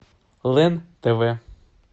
лен тв